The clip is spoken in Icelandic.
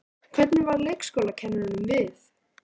Hvernig varð leikskólakennurunum við?